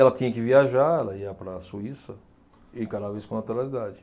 Ela tinha que viajar, ela ia para a Suíça e eu encarava isso com naturalidade.